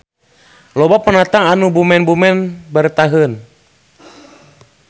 Loba pendatang anu bumen-bumen baretaheun.